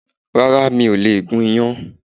Rárá, mi ò lè gun iyan